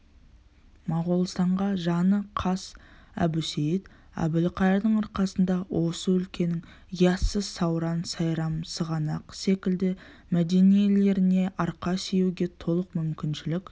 моғолстанға жаны қас әбусейіт әбілқайырдың арқасында осы өлкенің яссы сауран сайрам сығанақ секілді мединелеріне арқа сүйеуге толық мүмкіншілік